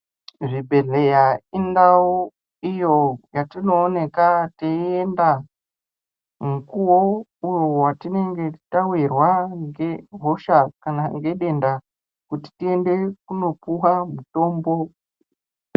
Zvibhedhlera indawo iyo yatinowoneka tiyenda mukuwo watinenge tawirwa kunge hosha kana ngedenda kuti tiyende kunopuwa mutombo.